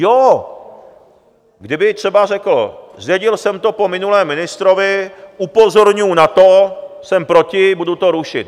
Jo, kdyby třeba řekl: Zdědil jsem to po minulém ministrovi, upozorňuji na to, jsem proti, budu to rušit.